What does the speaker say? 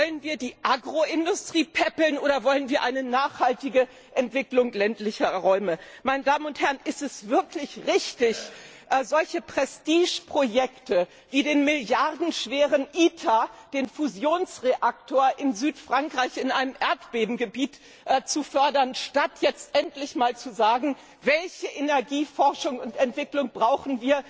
Wollen wir die Agroindustrie päppeln, oder wollen wir eine nachhaltige Entwicklung ländlicher Räume? Ist es wirklich richtig, solche Prestigeprojekte wie den milliardenschweren ITER, den Fusionsreaktor in Südfrankreich, in einem Erdbebengebiet zu fördern, statt jetzt endlich mal zu sagen, welche Energieforschung und Entwicklung wir brauchen,